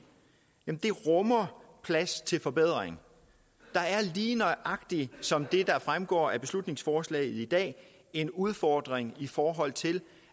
rummer plads til forbedring der er lige nøjagtig som det fremgår af beslutningsforslaget i dag en udfordring i forhold til